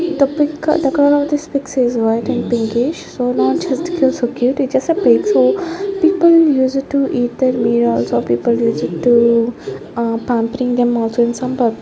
the pig the color of the pig is white and pinkish so large pig is cute it just a pig so people use it to eat their also people used to ahh pampering them also in some --